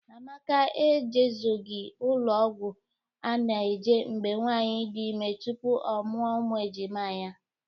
Amaka e jezoghi ụlọ ọgwọ a na-eje mgbe nwaanyị dị ime tupu ọ mụa ụmụ ejima ya.